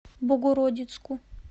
богородицку